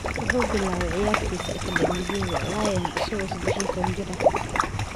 Wuxuu bilaabay ciyaaristiisa akademiyada Lyon isagoo sadex iyo tawan jir ah.